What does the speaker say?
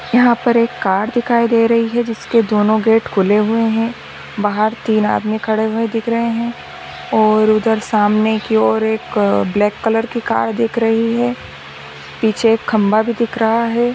यहाँ पर एक कार दिखाय दे रही है जिसके दोनों गेट खुले हुए है बाहर तीन आदमी खड़े हुए दिख रहे है ओर उधर सामने की ओर एक ब्लैक कलर की कार दिख रही है पीछे खंभा भी दिख रहा हैं।